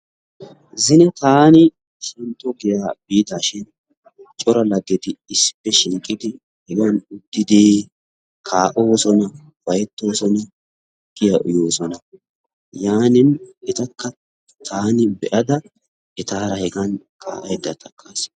zine taani xunxxo giyaa biidaashin cora laggeti issippe shiiqidi sohuwan uttidi kaa"oosona, ufayttoosona, tukkiyaa uyoosona. yaanin etakka taani be'ada etaara hegan kaa'aydda takkaas.